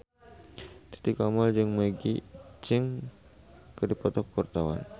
Titi Kamal jeung Maggie Cheung keur dipoto ku wartawan